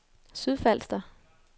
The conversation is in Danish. Sydfalster